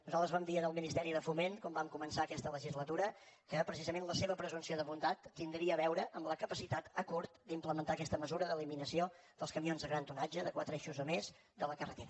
nosaltres vam dir al ministeri de foment quan vam començar aquesta legislatura que precisament la seva presumpció de bondat tindria a veure amb la capacitat a curt d’implementar aquesta mesura d’eliminació dels camions de gran tonatge de quatre eixos o més de la carretera